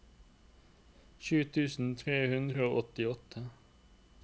sju tusen tre hundre og åttiåtte